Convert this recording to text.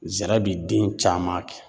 Zira bi den caman kɛ.